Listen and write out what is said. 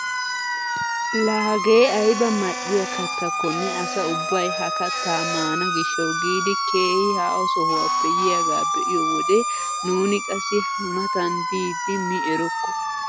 La hagee ayba mal"iyaa kattakonne asa ubbay ha kattaa maana gishshawu giidi keehi haaho sohuwaappe yiyaagaa be'iyoo wode nuuni qassi ha matan diidi mi erokko!